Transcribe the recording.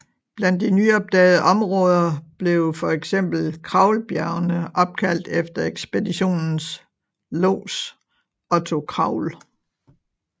Blandt de nyopdagede områder blev for eksempel Kraulbjergene opkaldt efter ekspeditionens lods Otto Kraul